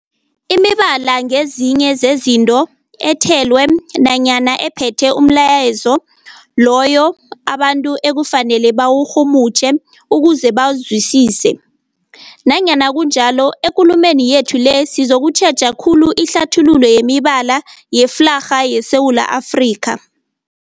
Imibala ngezinye zezinto ethelwe nanyana ephethe umlayezo loyo abantu ekufanele bawurhumutjhe ukuze bawuzwisise. Nanyana kunjalo, ekulumeni yethu le sizokutjheja khulu ihlathululo yemibala yeflarha yeSewula Afrika.